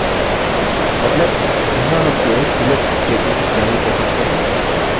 मतलब यहाँ हम केवल select statements जारी कर सकते हैं